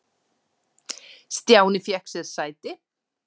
Stjáni fékk sér sæti.